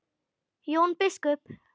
Jón biskup!